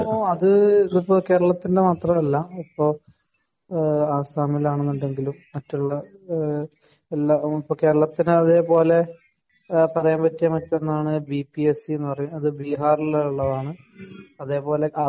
അത് ഇപ്പോ കേരളത്തിന്റെ മാത്രമല്ല ഇപ്പോ ആസ്സാമിലാണെന്നുണ്ടെങ്കിലും മറ്റുള്ള എല്ലാ കേരളത്തിന്റെ അതേ പോലെ പറയാൻ പറ്റിയ മറ്റൊന്നാണ് ബി പി എസ് സി അത് ബീഹാരിലുള്ളതാണ്. അതേ പോലെ